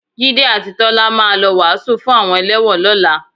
Jídé àti Tọ́lá máa lọ wàásù fún àwọn ẹlẹ́wọ̀n lọ́la